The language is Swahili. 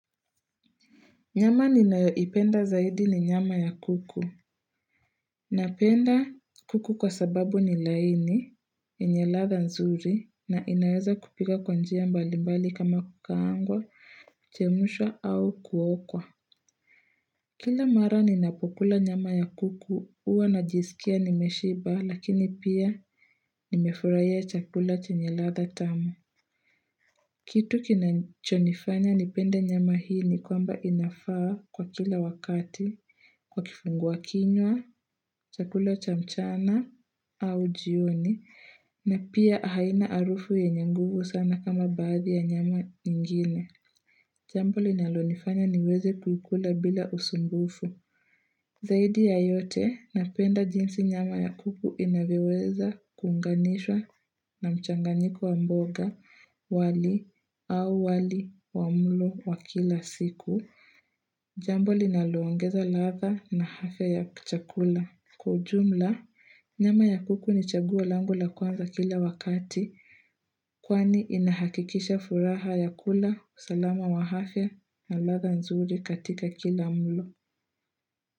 Nyama ninayoipenda zaidi ni nyama ya kuku. Napenda kuku kwa sababu ni laini, yenye ladha nzuri, na inaweza kupika kwa njia mbalimbali kama kukaangwa, chemshwa au kuokwa. Kila mara ninapokula nyama ya kuku, huwa najisikia nimeshiba, lakini pia nimefurahia chakula chenye ladha tamu. Kitu kinachonifanya nipende nyama hii ni kwamba inafaa kuwa kila wakati, kwa kifungua kinywa, chakula cha mchana, au jioni, na pia haina harufu yenye nguvu sana kama baadhi ya nyama ingine. Jambo linalo nifanya niweze kukula bila usumbufu. Zaidi ya yote, napenda jinsi nyama ya kuku inavyoweza kuunganishwa na mchanganyiko wa mboga, wali, au wali, wa mlo, wa kila siku. Jambo linaloongeza ladha na harufu ya kchakula. Kwa ujumla, nyama ya kuku ni chaguo langu la kwanza kila wakati, kwani inahakikisha furaha ya kula, usalama wa afya, na ladha nzuri katika kila mlo.